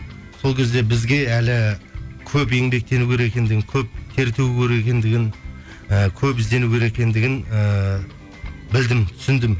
сол кезде бізге әлі көп еңбектену керек екендігін көп тер төгу керек екендігін ііі көп іздену керек екендігін ііі білдім түсіндім